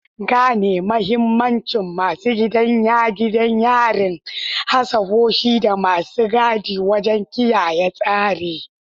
Gane mahimmancin masu gadin gidan yari, hafsoshi, da masu gadi wajen kiyaye tsari.